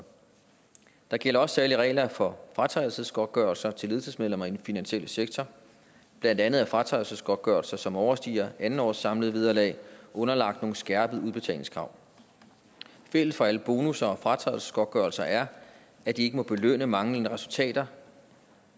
der gælder også særlige regler for fratrædelsesgodtgørelser til ledelsesmedlemmer i den finansielle sektor blandt andet at fratrædelsesgodtgørelser som overstiger andet års samlede vederlag er underlagt nogle skærpede udbetalingskrav fælles for alle bonusser og fratrædelsesgodtgørelser er at de ikke må belønne manglende resultater